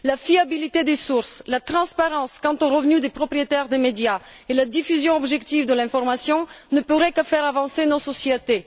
La fiabilité des sources, la transparence quant aux revenus des propriétaires des médias et la diffusion objective de l'information ne pourraient que faire avancer nos sociétés.